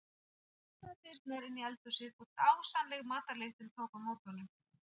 Hann opnaði dyrnar inn í eldhúsið og dásamleg matarlyktin tók á móti honum.